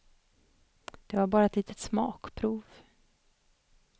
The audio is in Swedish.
Det var bara ett litet smakprov.